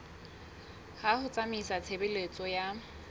ya ho tsamaisa tshebeletso ya